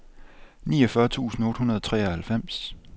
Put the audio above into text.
niogfyrre tusind otte hundrede og treoghalvfems